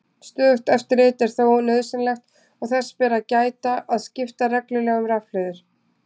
Stöðugt eftirlit er þó nauðsynlegt og þess ber að gæta að skipta reglulega um rafhlöður.